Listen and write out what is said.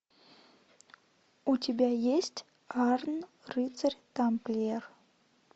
у тебя есть арн рыцарь тамплиер